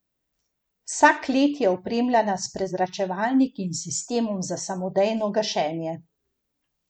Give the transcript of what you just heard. Vsa klet je opremljena s prezračevalniki in sistemom za samodejno gašenje.